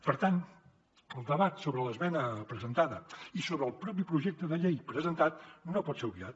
per tant el debat sobre l’esmena presentada i sobre el propi projecte de llei presentat no pot ser obviat